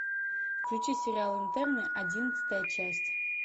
включи сериал интерны одиннадцатая часть